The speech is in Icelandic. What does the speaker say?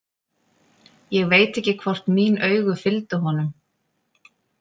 Ég veit ekki hvort mín augu fylgdu honum.